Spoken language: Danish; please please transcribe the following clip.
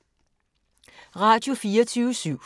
Radio24syv